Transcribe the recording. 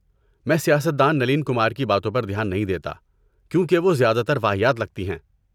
میں سیاست دان نلین کمار کی باتوں پر دھیان نہیں دیتا کیونکہ وہ زیادہ تر واہیات لگتی ہیں۔